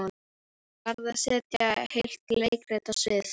Hún varð að setja heilt leikrit á svið.